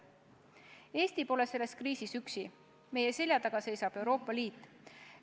Eesti pole selles kriisis üksi, meie selja taga seisab Euroopa Liit.